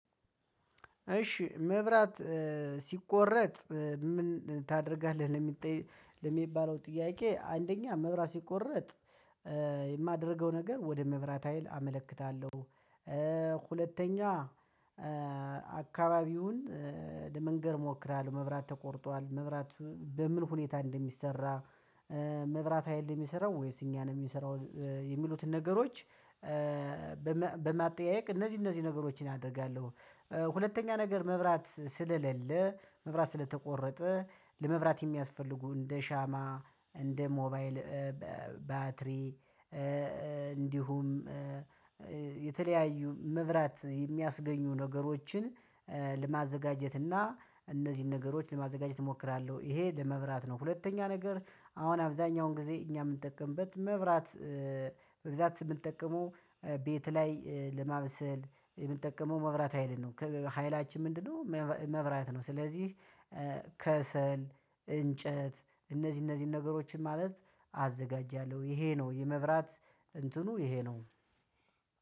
እሺ መብራት ሲቆረጥ ምን ታደርጋለህ? ለሚበለው ጥያቄ አንደኛ መብራት ሲቆረጥ የማደርገው ነገር ወደ መብራት ሀይል አመለክታለሁ። ሁለተኛ። አካባቢውን ለመንገር እሞክራለሁ። መብራት ተቆርጧል መብራት በምን ሁኔታ እንደሚሰራ። መብራት ሀይል የሚሰራው ወይስ እኛ ነኝን የሚንሰራው የሚሉትን ነገሮች። በማጠያየቅ እነዚህ እነዚህ ነገሮችን አደርጋለሁ። ሁለተኛ ነገር መብራት ስለሌለ መብራት ስለተቆረጠ ለመብራት የሚያስፈልጉ እንደ ሻማ እንደ ሞባይል ባትሪ እንዲሁም የተለያዩ መብራት የሚያስገኙ ነገሮችን ለማዘጋጀት እና እነዚህን ነገሮች ለማዘጋጀት እሞክራለሁ። ይሄ ለመብራት ነው። ሁለተኛ ነገር አሁን አብዛኛውን ጊዜ እኛ የምንጠቀምበት መብራት በብዛት የምንጠቀመው ቤት ላይ ለማበሰል የምንጠቀመው መብራት ሀይልን ነው። ሀይላችን ምንድነው? መብራት ነው። ስለዚህ ከሰል እንጨት እነዚህ እነዚህን ነገሮችን ማለት አዘጋጃለሁ ይሄ ነው። የመብራት እንትኑ ይሄ ነው።